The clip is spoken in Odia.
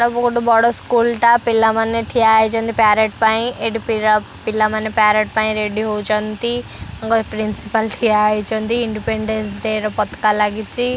ଏଇଟା ବହୁତ ବଡ଼ ସ୍କୁଲ ଟା ପିଲାମାନେ ଠିଆହୋଇଛନ୍ତି ପ୍ୟାରେଟ୍ ପାଇଁ ଏଠି ପି ପିଲା ପିଲାମାନେ ପ୍ୟାରେଟ୍ ପାଇଁ ରେଡି ହେଉଛନ୍ତି ଘ ପ୍ରିନ୍ସିପାଲ୍ ଠିଆ ହୋଇଛନ୍ତି ଇଣ୍ଡିପେଣ୍ଡାନ୍ସ ଡେ ର ପତକା ଲାଗିଛି।